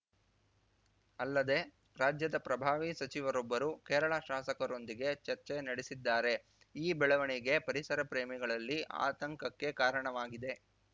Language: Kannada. ಅಲ್ಲದೆ ರಾಜ್ಯದ ಪ್ರಭಾವಿ ಸಚಿವರೊಬ್ಬರು ಕೇರಳ ಶಾಸಕರೊಂದಿಗೆ ಚರ್ಚೆ ನಡೆಸಿದ್ದಾರೆ ಈ ಬೆಳವಣಿಗೆ ಪರಿಸರ ಪ್ರೇಮಿಗಳಲ್ಲಿ ಆತಂಕಕ್ಕೆ ಕಾರಣವಾಗಿದೆ